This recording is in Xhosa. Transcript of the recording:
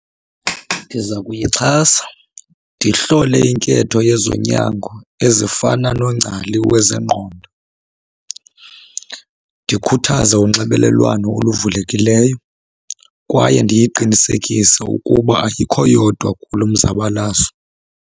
Ndiza kuyixhasa, ndihlole inketho yezonyango ezifana nongcali wezengqondo, ndikhuthaze unxibelelwano oluvulekileyo kwaye ndiyiqinisekise ukuba ayikho yodwa kulo mzabalazo.